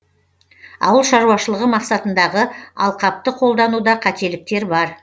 ауыл шаруашылығы мақсатындағы алқапты қолдануда қателіктер бар